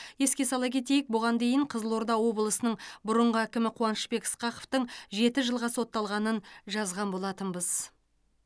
еске сала кетейік бұған дейін қызылорда облысының бұрынғы әкімі қуанышбек ысқақовтың жеті жылға сотталғанын жазған болатынбыз